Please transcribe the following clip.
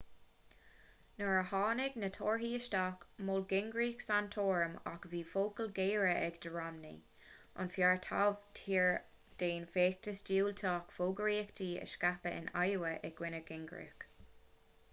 nuair a tháinig na torthaí isteach mhol gingrich santorum ach bhí focail ghéara aige do romney an fear taobh thiar den fheachtas diúltach fógraíochta a scaipeadh in iowa i gcoinne gingrich